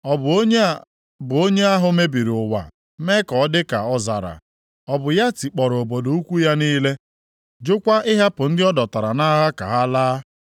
Ọ bụ onye a bụ onye ahụ mebiri ụwa mee ya ka ọ dị ka ọzara? Ọ bụ ya tikpọrọ obodo ukwu ya niile, jụkwa ịhapụ ndị ọ dọtara nʼagha ka ha laa?”